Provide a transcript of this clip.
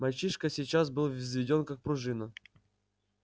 мальчишка сейчас был взведён как пружина